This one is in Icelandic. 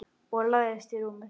Og lagðist í rúmið.